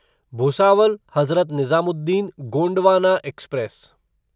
Bhusawal Hazrat Nizamuddin Gondwana express